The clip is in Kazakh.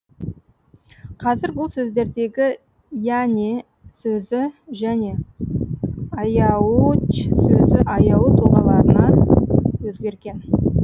қазір бұл сөздердегі йәне сөзі және айауұч сөзі аяулы тұлғаларына өзгерген